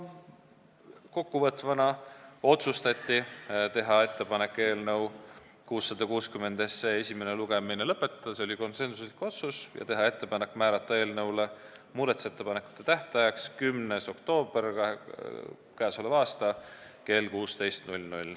Kokkuvõtvalt: otsustati teha ettepanek eelnõu 660 esimene lugemine lõpetada ja teha ettepanek määrata eelnõu muudatusettepanekute tähtajaks k.a 10. oktoober kell 16 .